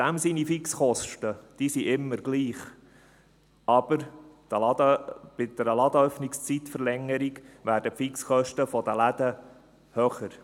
Doch seine Fixkosten sind immer gleich, aber mit einer Verlängerung der Ladenöffnungszeit werden die Fixkosten der Läden höher.